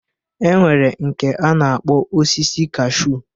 E nwere nke a na-akpọ osisi kaashu.